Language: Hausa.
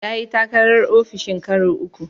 Ya yi takarar ofishin karo uku.